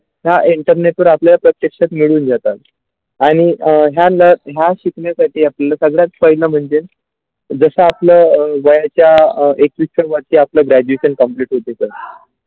ह्या आपल्या प्रत्यक्ष घेऊन जातात आणि अ ह्या न ह्या शिकण्यासाठी आपल्या सगळं friend म्हणजेजशा आपलं व्हायचा एक मेके आपल्या Graduation complete होते.